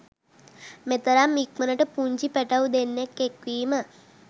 මෙතරම් ඉක්මණට පුංචි පැටව් දෙන්නෙක් එක්වීම